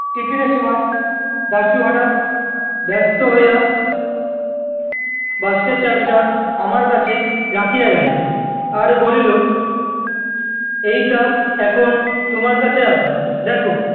টিফিনের সময় দাশু হঠাৎ ব্যস্ত হইয়া, বাস্কের চাবিটা আমার কাছে রাখিয়া গেল, আর বলিল, এইটা এখন তোমার কাছে রাখো, দেখো-